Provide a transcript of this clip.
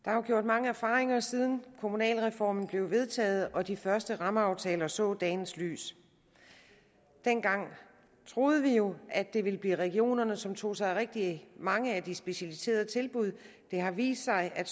der er gjort mange erfaringer siden kommunalreformen blev vedtaget og de første rammeaftaler så dagens lys dengang troede vi jo at det ville blive regionerne som tog sig af rigtig mange af de specialiserede tilbud det har vist sig at